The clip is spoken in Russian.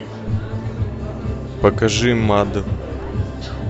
покажи мад